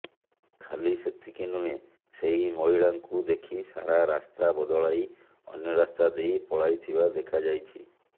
ଖାଲି ସେତିକି ନୁହେଁ ସେହି ମହିଳାଙ୍କୁ ଦେଖି ସାରା ରାସ୍ତା ବଦଳାଇ ଅନ୍ୟ ରାସ୍ତା ଦେଇ ପଳାଇଥିବା ଦେଖାଯାଇଛି